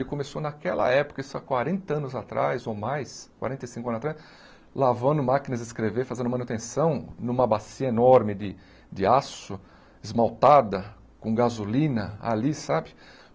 Ele começou naquela época, isso há quarenta anos atrás ou mais, quarenta e cinco anos atrás, lavando máquinas de escrever, fazendo manutenção numa bacia enorme de de aço, esmaltada, com gasolina ali, sabe?